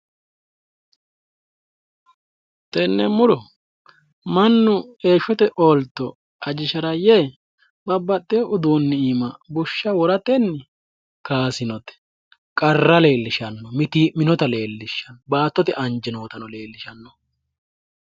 tenne muro mannu heeshshote ooltto ajishara yee babaxino udiinni iima bushsha woratenni kaasinote mitiimminota leellishshanno baattote anjeno leellishshanno,